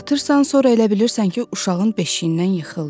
Yatırısan, sonra elə bilirsən ki uşağın beşiyindən yıxıldı.